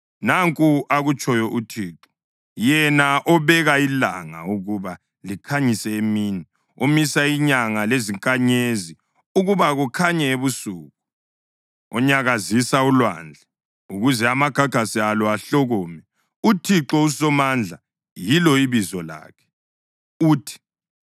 Nanku akutshoyo uThixo, yena obeka ilanga ukuba likhanyise emini, omisa inyanga lezinkanyezi ukuba kukhanye ebusuku, onyakazisa ulwandle ukuze amagagasi alo ahlokome, uThixo uSomandla yilo ibizo lakhe, uthi: